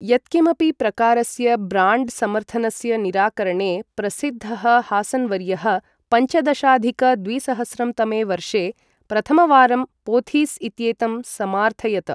यत्किमपि प्रकारस्य ब्राण्ड् समर्थनस्य निराकरणे प्रसिद्धः हासन् वर्यः, पञ्चदशाधिक द्विसहस्रं तमे वर्षे प्रथमवारं पोथीस् इत्येतं समार्थयत।